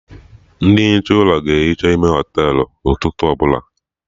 Ndị ehicha ụlọ ga ehicha ime ụlọ Họtelụ ụtụtụ ọbụla